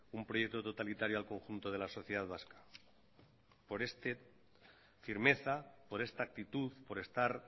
un proyecto totalitario al conjunto de la sociedad vasca por esta firmeza por esta actitud por estar